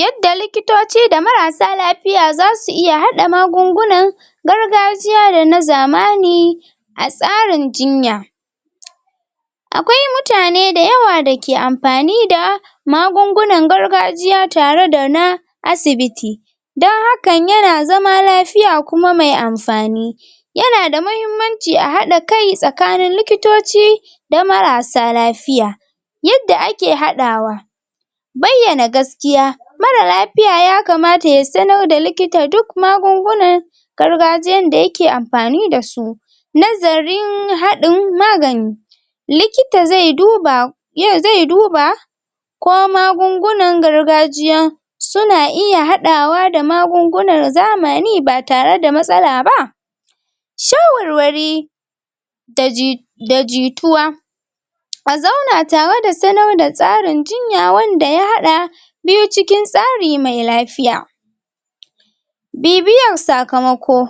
yadda likitoci da marasa lafiya zasu iya haɗa magungunan gargajiya da na zamani a tsarin jinya akwai mutane da yawa dake anpani da magungunan gargajiya tare da na asibiti dan hakan yana zama lafiya kuma me anfani yanada mahimmanci a haɗa kai tsakanin likitoci da marasa lafiya yadda ake haɗawa bayyana gaskiya mara lafiya ya kamata ya sannor da likita duk magungunan gargajiyan da yake anfani dasu nazarin haɗin magani likita ze duba yin ze duba ko magungunan gargajiyan suna iya haɗawa da ma gungunan zamani batare da mtsala ba shawarwari da ji da jituwa ka zauna tawa da sanor da tsarin jinya wanda ya haɗa biyu cikin tsarime lafiya bibiyan sakamako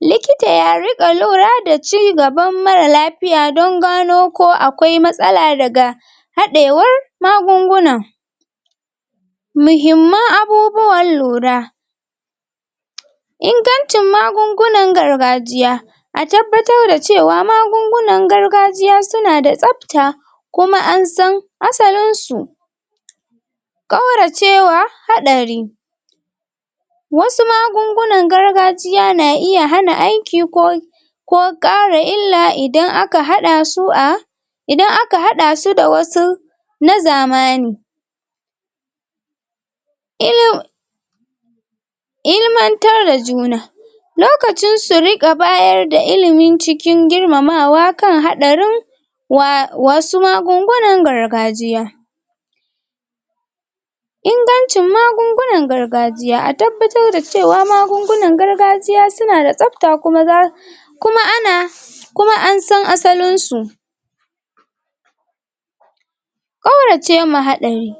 likita ya riƙa lura da cigaban mara lafiya don gano ko akwai matsla daga haɗewar magunguna mujimman abubuwan lura ingancin magungunan gargajiya a tabbatar da cewa magungunan gargajiya suna da tsabta kuma an san asalin su kaurace wa haɗari wasu magungunan gargajiya na iya hana aiki ko ko kara illa idan aka haɗa su da idan aka haɗa su da wasu na zamani ilmu ilmantar da juna lokacin su riƙa bayar da ilimi cikin girmamawa da wayar da kai kan haɗarin wa[um] wasu magungunan gargajiya ingancin magungunan gargajiya, a tabbatar da cewa magungunan gargajiya suna da tsabta kuma da kuma ana kuma ansan asalinsu ƙaurace ma haɗari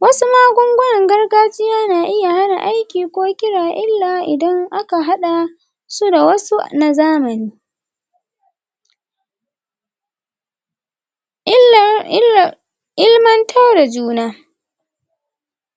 wasu magungunan gargajiya na iya hana aiki ko kira illa idan aka haɗa su da wasu nazamani illar ilar ilmantar da juna